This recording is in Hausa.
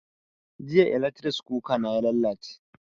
Jiya eletris kuka na ya lalace